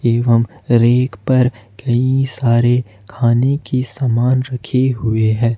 एवं रैक पर कई सारे खाने की समान रखी हुई है।